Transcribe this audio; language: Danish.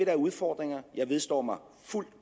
er udfordringer jeg vedstår fuldt